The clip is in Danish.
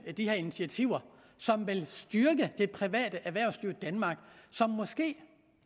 de her initiativer som vil styrke det private erhvervsliv i danmark som måske